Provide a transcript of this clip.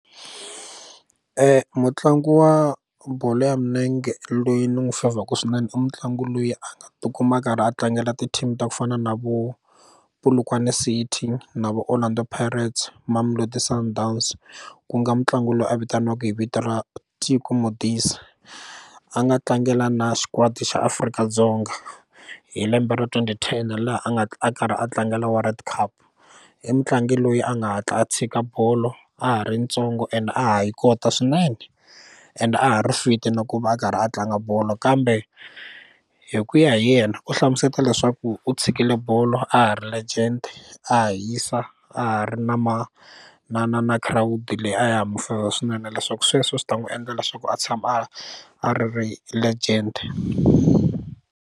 mutlangi wa bolo ya milenge loyi ni n'wi fevhaku swinene i mutlangi loyi a nga tikuma a karhi a tlangela ti team ta ku fana na vo Polokwane City na vo Orlando Pirates Mamelodi Sundowns ku nga mutlangi loyi a vitaniwaka hi vito ra Teko Modise a nga tlangela na xikwadi xa Afrika-Dzonga hi lembe ra twenty ten laha a nga a karhi a tlangela world cup i mutlangi loyi a nga hatla a tshika bolo a ha ri ntsongo and a ha yi kota swinene and a ha ri fit na ku va a karhi a tlanga bolo kambe hi ku ya hi yena u hlamuseta leswaku u tshikile bolo a ha ri legend a ha hisa a ha ri na ma na na na khirawudi leyi a ya ha mufevha swinene leswaku sweswo swi ta n'wi endla leswaku a tshama a a ri legend.